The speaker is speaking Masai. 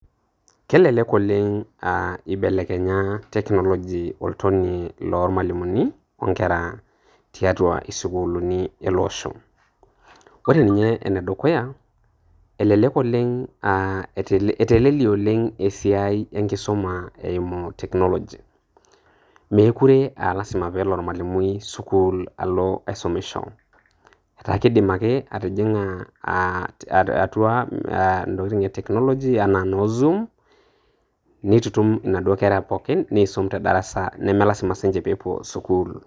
Kelelek oleng aa keibelekenya technology oltonie loo lmwalimumi o ing'era tiatua isukulini ele osho. Ore ninye enedukuya, elelek oleng' etelelie oleng esiai enkisuma eimu technology. Mekuree aa lasima peelo olmwalimui sukuul alo aisomisho, etaa keikidim ake atijing'a intokitin e technology anaa noo Zoom, neitutum naduo inkera pookin neisum te darasa, nemee lasima siininye peepuo sukuul.